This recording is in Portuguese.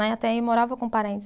Até aí morava com parentes.